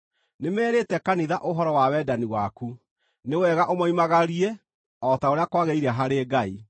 Nĩmerĩĩte kanitha ũhoro wa wendani waku. Nĩ wega ũmoimagarie o ta ũrĩa kwagĩrĩire harĩ Ngai.